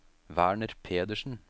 Werner Pedersen